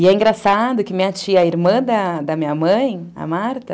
E é engraçado que minha tia, a irmã da minha mãe, a Marta,